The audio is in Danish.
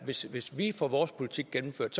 hvis hvis vi får vores politik gennemført